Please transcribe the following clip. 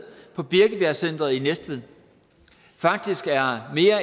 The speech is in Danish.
på birkebjergcentret i næstved faktisk har mere